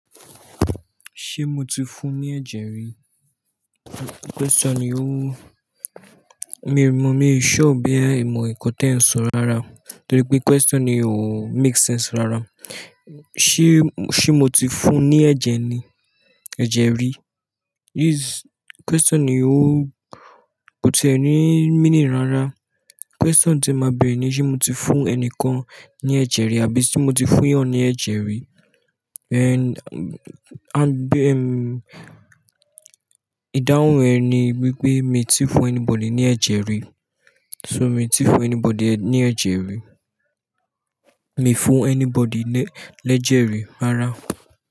Ṣé mo ti fún ní ẹ̀jẹ̀ rí? Question ni ó, mi ò mọ, mi sure ọ bo ya ẹ mọ nǹkan tí ẹ ń sọ rárá. Torí pé question ni ò make sense rárá. Se, se mo ti fún ní ẹ̀jẹ̀ ni, ẹ̀jẹ̀ rí. This question ni ó, kò ti ẹ́ni meaning rárá. Question tí máa bẹ ni, ṣé mo ti fún ẹni kan ní ẹ̀jẹ̀ rí àbí ṣé mo ti fún eyàn ní ẹ̀jẹ̀ rí? And, and bem, ìdáhùn ẹ ni wípé mi ti fún anybody ní ẹ̀jẹ̀ rí. So mi ti fún anybody ní ẹ̀jẹ̀ rí. Mi fún anybody lẹ́jẹ̀ rí rárá.